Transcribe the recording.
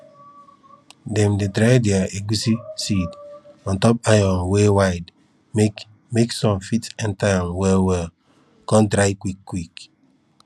dem dey dry dere egusi seed ontop iron wey wide make make sun fit enter am well well con dry quick quick